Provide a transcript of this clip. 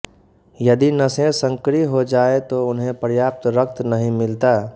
यदि नसें संकरी हो जाएं तो उन्हें पर्याप्त रक्त नहीं मिलता